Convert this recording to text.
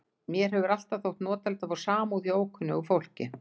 Mér hefur alltaf þótt notalegt að fá samúð hjá ókunnugu fólki.